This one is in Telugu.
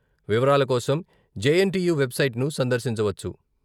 వివరాల కోసం J N T U website ను సందర్శించవచ్చు.